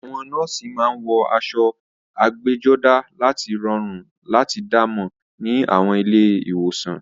Àwọn nọ́ọ̀sì máa ń wọ aṣọ ẹgbẹ́jọdá láti rọrùn láti dá mọ̀ ní àwọn ilé ìwòsàn